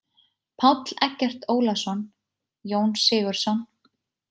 Páll Eggert Ólason: Jón Sigurðsson.